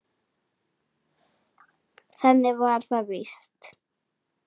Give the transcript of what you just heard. Þannig var það víst.